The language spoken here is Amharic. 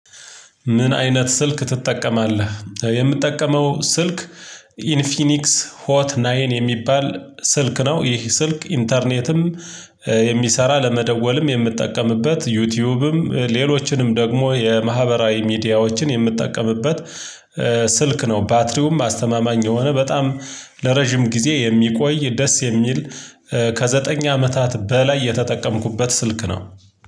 ምን አይነት ስልክ ትጠቀማለህ? የምጠቀመው ስልክ ኢንፊኒክስ ሆት ናይን የሚባል ስልክ ነው። ይህ ስልክ ኢንተርኔትም የሚሰራ ለመደወልም የምትጠቀምበት ዩቲዩብም ሌሎችንም ደግሞ የማህበራዊ ሚዲያዎችን የምትጠቀምበት ስልክ ነው። ባትሪውም አስተማማኝ የሆነ በጣም ለረጅም ጊዜ የሚቆይ ደስ የሚል ከዘጠኝ አመታት በላይ የተጠቀምኩበት ስልክ ነው።